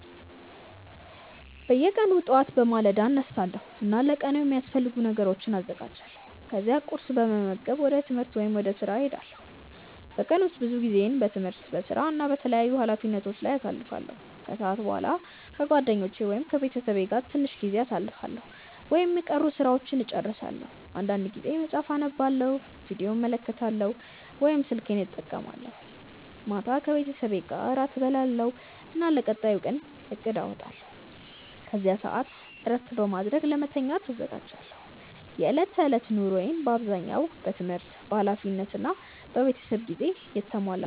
በየቀኑ ጠዋት በማለዳ እነሳለሁ እና ለቀኑ የሚያስፈልጉ ነገሮችን አዘጋጃለሁ። ከዚያ ቁርስ በመመገብ ወደ ትምህርት ወይም ወደ ሥራ እሄዳለሁ። በቀን ውስጥ ብዙ ጊዜዬን በትምህርት፣ በሥራ እና በተለያዩ ኃላፊነቶች ላይ አሳልፋለሁ። ከሰዓት በኋላ ከጓደኞቼ ወይም ከቤተሰቤ ጋር ትንሽ ጊዜ አሳልፋለሁ ወይም የቀሩ ሥራዎችን እጨርሳለሁ። አንዳንድ ጊዜ መጽሐፍ አነባለሁ፣ ቪዲዮ እመለከታለሁ ወይም ስልኬን እጠቀማለሁ። ማታ ከቤተሰቤ ጋር እራት እበላለሁ እና ለቀጣዩ ቀን እቅድ አወጣለሁ። ከዚያ በኋላ እረፍት በማድረግ ለመተኛት እዘጋጃለሁ። የዕለት ተዕለት ኑሮዬ በአብዛኛው በትምህርት፣ በኃላፊነት እና በቤተሰብ ጊዜ የተሞላ ነው።